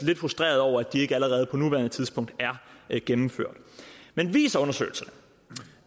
lidt frustreret over at de ikke allerede på nuværende tidspunkt er gennemført men viser undersøgelserne